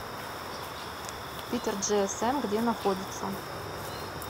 питерджиэсэм где находится